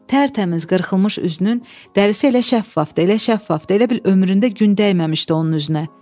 Tərtəmiz qırxılmış üzünün dərisi elə şəffafdır, elə şəffafdır, elə bil ömründə gün dəyməmişdi onun üzünə.